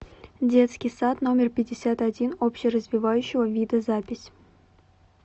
детский сад номер пятьдесят один общеразвивающего вида запись